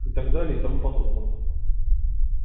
и так далее и тому подобное